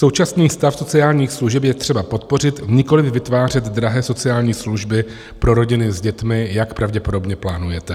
Současný stav sociálních služeb je třeba podpořit, nikoliv vytvářet drahé sociální služby pro rodiny s dětmi, jak pravděpodobně plánujete.